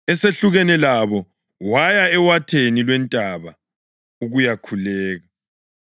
Esehlukene labo, waya ewatheni lwentaba ukuyakhuleka.